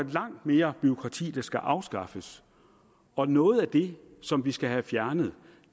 langt mere bureaukrati der skal afskaffes og noget af det som vi skal have fjernet